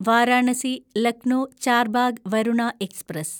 Varanasi Lucknow Charbagh Varuna express